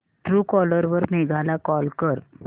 Truecaller वर मेघा ला call कर